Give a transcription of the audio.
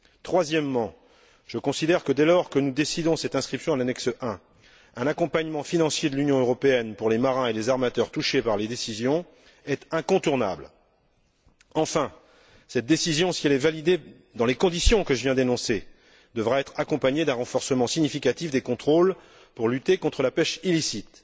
Troisièmement, je considère que, dès lors que nous décidons cette inscription à l'annexe I, un accompagnement financier de l'Union européenne pour les marins et les armateurs touchés par les décisions est incontournable. Enfin, cette décision, si elle est validée dans les conditions que je viens d'énoncer, devra être accompagnée d'un renforcement significatif des contrôles pour lutter contre la pêche illicite.